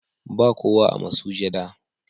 Ba kowa a masujada,